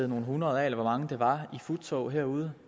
nogle hundrede eller hvor mange det var der i futtog herude